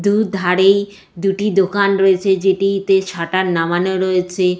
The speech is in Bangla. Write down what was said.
দুধারেই দুটি দোকান রয়েছে যেটি-তে একটি সাটার নামানো রয়েছে।